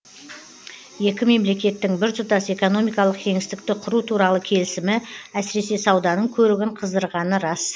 екі мемлекеттің біртұтас экономикалық кеңістікті құру туралы келісімі әсіресе сауданың көрігін қыздырғаны рас